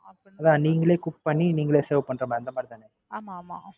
அதான் நீங்களே Cook பண்ணி, நீங்களே Serve பண்ற மாரி, அந்த மாறி தான, ஆமாமா